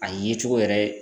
A ye cogo yɛrɛ